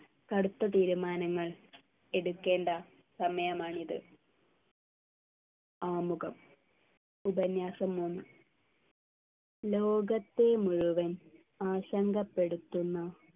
കടുത്ത തീരുമാനങ്ങൾ എടുക്കേണ്ട സമയമാണിത് ആമുഖം ഉപന്യാസം മൂന്ന് ലോകത്തെ മുഴുവൻ ആശങ്കപ്പെടുത്തുന്ന